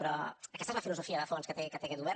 però aquesta és la filosofia de fons que té aquest govern